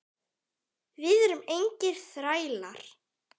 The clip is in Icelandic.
Við erum engir þrælar.